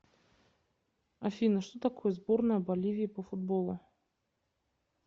афина что такое сборная боливии по футболу